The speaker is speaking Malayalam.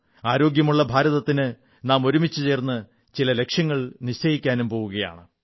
ആരോഗ്യമുള്ള ഭാരതത്തിന് നാം ഒരുമിച്ചുചേർന്ന് ചില ലക്ഷ്യങ്ങൾ നിശ്ചയിക്കാനും പോകുകയാണ്